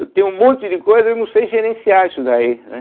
Eu tenho um monte de coisa e eu não sei gerenciar isso daí, né?